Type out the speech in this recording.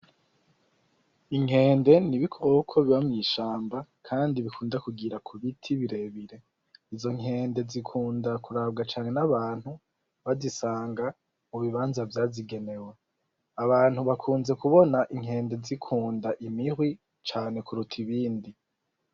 Inkende n'ibikoko biba mwishamba kandi bikunda kugira kubiti birebire. Izo nkende zikunda kurabwa n'abantu bazisanga mubibanza vyazigenewe. Abantu bakunze kubona inkende zikunda imihwi cane kuruta ibindi.